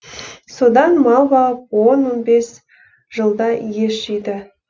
содан мал бағып он он бес жылда ес жиды